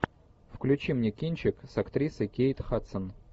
включи мне кинчик с актрисой кейт хадсон